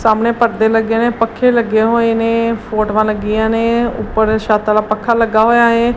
ਸਾਹਮਣੇ ਪਰਦੇ ਲੱਗੇ ਨੇ ਪੱਖੇ ਲੱਗੇ ਹੋਏ ਨੇ ਫੋਟਵਾਂ ਲੱਗੀਆਂ ਨੇ ਉੱਪਰ ਛੱਤ ਵਾਲਾ ਪੱਖਾ ਲੱਗਾ ਹੋਇਆ ਏ।